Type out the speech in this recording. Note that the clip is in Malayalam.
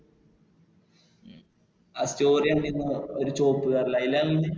story കണ്ടിരുന്നു ഒരു ചുവപ്പു Car ലു അതിലാപോയെ